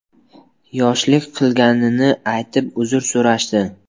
yoshlik qilganini aytib, uzr so‘rashdi.